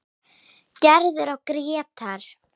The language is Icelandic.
Gerður og Grétar.